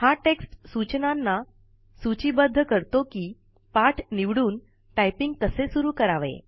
हा टेक्स्ट सूचनांना सूचीबद्ध करतो कि पाठ निवडून टाईपिंग कसे सुरु करावे